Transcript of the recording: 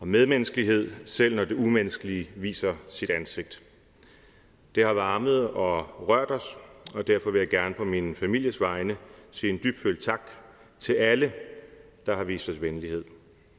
medmenneskelighed selv når det umenneskelige viser sit ansigt det har varmet og rørt os og derfor vil jeg gerne på min families vegne sige en dybfølt tak til alle der har vist os venlighed